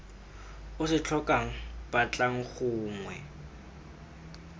o se tlhokang batlang gongwe